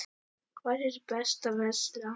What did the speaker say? Hvar er best að versla?